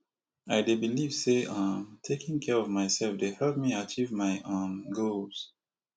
i dey believe say um taking care care of myself dey help me achieve my um goals